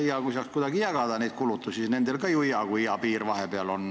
Hea, kui saaks kuidagi neid kulutusi jagada, nendel on ka ju hea, kui hea piir vahepeal on.